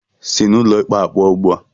Sị n'ụlọ ikpe a pụọ ugbu a!